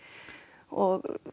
og